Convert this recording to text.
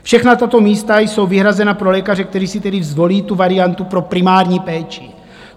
Všechna tato místa jsou vyhrazena pro lékaře, kteří si tedy zvolí tu variantu pro primární péči.